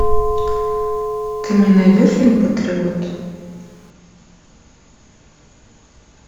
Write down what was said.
ты мне найдешь фильм патриот